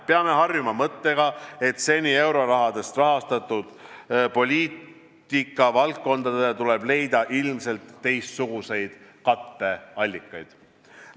Peame harjuma mõttega, et seni eurorahast rahastatud poliitikavaldkondadele tuleb leida ilmselt teistsuguseid katteallikaid.